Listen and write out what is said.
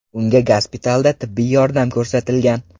Unga gospitalda tibbiy yordam ko‘rsatilgan.